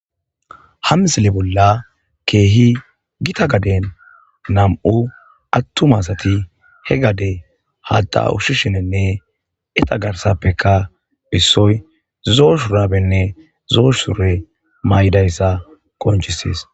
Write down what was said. ha misile bolla keehi gita gaden nam7u attuma asati he gade hata ushshishinenne eta garsappeka hissoy zoo shuraabenne zoo sure maydayssa qoncisees